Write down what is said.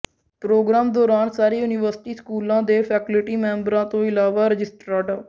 programme ਦੌਰਾਨ ਸਾਰੇ university ਸਕੂਲਾਂ ਦੇ ਫੈਕਲਟੀ ਮੈਂਬਰਾਂ ਤੋਂ ਇਲਾਵਾ ਰਜਿਸਟਰਾਰ ਡਾ